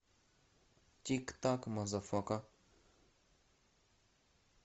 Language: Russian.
тик так мазафака